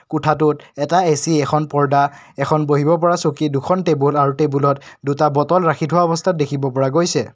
কোঠাটোত এটা এ_চি এখন পৰ্দা এখন বহিব পৰা চকী দুখন টেবুল আৰু টেবুলত দুটা বটল ৰাখি থোৱা অৱস্থত দেখিব পৰা গৈছে।